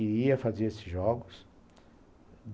E ia fazer esses jogos.